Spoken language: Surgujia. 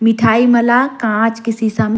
मिठाई मन ल कांच के शीशा--